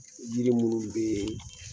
yiri ninnu be yen